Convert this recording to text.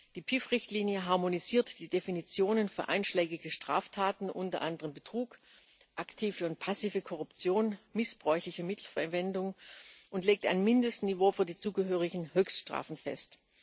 Die PIV Richtlinie harmonisiert die Definitionen für einschlägige Straftaten unter anderem Betrug, aktive und passive Korruption, missbräuchliche Mittelverwendung und legt ein Mindestniveau für die zugehörigen Höchststrafen fest.